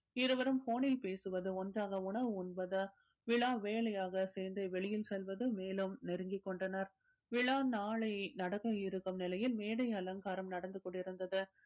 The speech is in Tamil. இருவரும் phone ல் பேசுவது ஒண்றாக உணவு உண்பது விழா வேலையாக சேர்ந்து வெளியில் செல்வதும் மேலும் நெருங்கிக் கொண்டனர் விழா நாளை நடக்க இருக்கும் நிலையில் மேடை அலங்காரம் நடந்து கொண்டிருந்தது